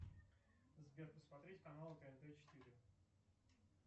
сбер посмотреть канал тнт четыре